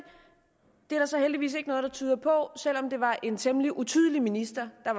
er der så heldigvis ikke noget der tyder på selv om det var en temmelig utydelig minister der